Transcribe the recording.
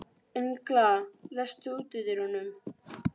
Engla, læstu útidyrunum.